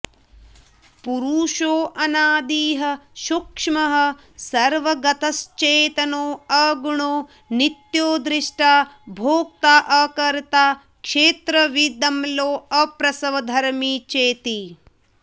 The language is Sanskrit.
पुरुषोऽनादिः सूक्ष्मः सर्वगतश्चेतनोऽगुणो नित्यो द्रष्टा भोक्ताऽकर्त्ता क्षेत्रविदमलोऽप्रसवधर्मी चेति